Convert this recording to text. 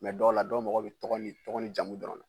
dɔw la dɔw mago bɛ jamu dɔrɔn na